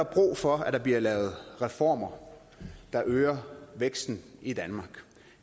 brug for at der bliver lavet reformer der øger væksten i danmark